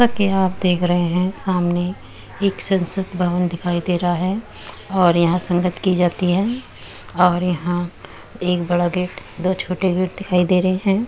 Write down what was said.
जैसा की आप देख रहे है सामने एक संसद भवन दिखाई दे रहा है और यहाँ संगत की जाती है और यहाँ एक बड़ा गेट दो छोटे गेट दिखाई दे रहे हैं।